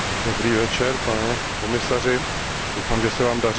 Pane komisaři, doufám, že se Vám daří dobře.